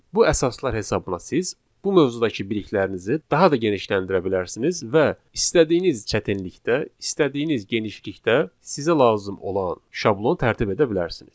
Bu əsaslar hesabına siz bu mövzulardakı biliklərinizi daha da genişləndirə bilərsiniz və istədiyiniz çətinlikdə, istədiyiniz genişlikdə sizə lazım olan şablon tərtib edə bilərsiniz.